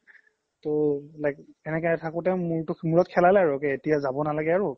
তো like এনেকে থাকোতে মোৰত খেলালে আৰু এতিয়া যাব নালাগে আৰু